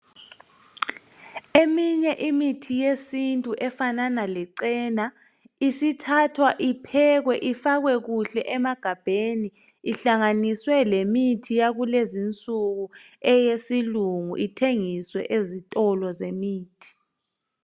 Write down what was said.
Eminye imithi yesintu efanana lechena isithathwa iphekwe ifakwe kuhle emagabheni ihlanganiswe lemithi yakulezi nsuku eyesilungu ithengiswe ezitolo zemithi.